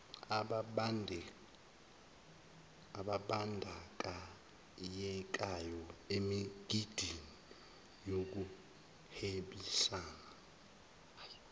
obandanyekayo emgidini wokuhwebisana